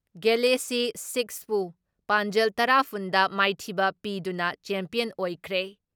Galaxy ꯁꯤꯛꯁꯄꯨ ꯄꯥꯟꯖꯜ ꯇꯔꯥ ꯐꯨꯟ ꯗ ꯃꯥꯏꯊꯤꯕ ꯄꯤꯗꯨꯅ ꯆꯦꯝꯄꯤꯌꯟ ꯑꯣꯏꯈ꯭ꯔꯦ ꯫